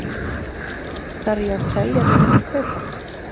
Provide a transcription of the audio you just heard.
Þarf ég að selja til þess að kaupa?